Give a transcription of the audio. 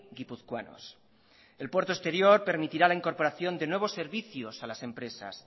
guipuzcoanos el puerto exterior permitirá la incorporación de nuevos servicios a las empresas